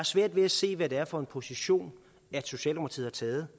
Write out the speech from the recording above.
svært ved at se hvad det er for en position socialdemokratiet